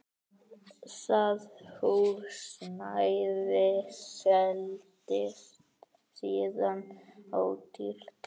Það húsnæði seldist síðan ódýrt.